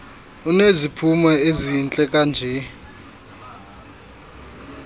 uneziphumo ezihle kanje